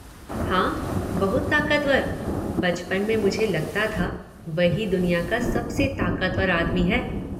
हाँ, बहुत ताकतवर। बचपन में मुझे लगता था वही दुनिया का सबसे ताकतवर आदमी है।